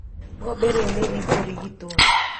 Ng'ombe rĩu nĩ ikũrigitwo.